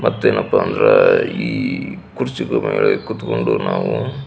ಮತ್ತೇನಪ್ಪ ಅಂದ್ರೆ ಈ ಕುರ್ಚಿ ಮೇಲೆ ಕುತ್ಕೊಂಡು ನಾವು --